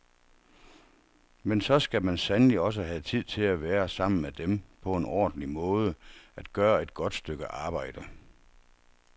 Men så skal man sandelig også have tid til at være sammen med dem på en ordentlig måde, at gøre et godt stykke arbejde.